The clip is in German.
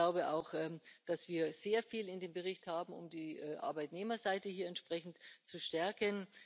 Ich glaube auch, dass wir sehr viel in dem Bericht haben, um die Arbeitnehmerseite entsprechend zu stärken.